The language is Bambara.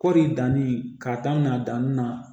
Kɔɔri danni k'a daminɛ danni na